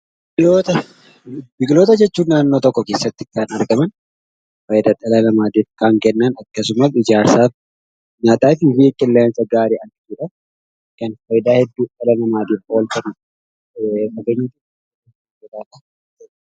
Biqiloota jechuun naannoo tokko keessatti kan argaman, faayidaa dhala namaatif kan kennan akkasumas ijaarsaaf, nyaataf, qilleensa gaarii akka godhan kan faayidaa hedduu dhala namaaf oolchanidha.